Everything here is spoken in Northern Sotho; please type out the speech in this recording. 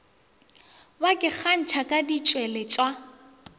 ba ke kgantšha ka ditšweletšwa